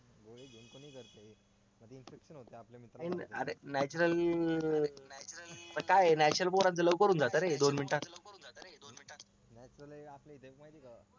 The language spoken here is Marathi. अरे natural पण काय ए natural पोरांचा लवकर होऊन जात रे दोन मिनिटात